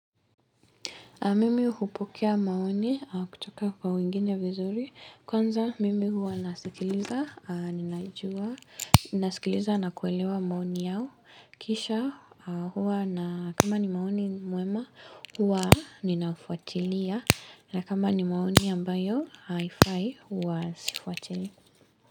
Mimi hupokea maoni kutoka kwa wengine vizuri, kwanza mimi huwa nasikiliza, ninajua, nasikiliza na kuelewa maoni yao, kisha huwa na kama ni maoni mema huwa ninaufuatilia na kama ni maoni ambayo haifai huwa sifuatilii.